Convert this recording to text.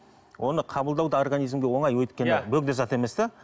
оны қабылдау да организмге оңай өйткені бөгде зат емес те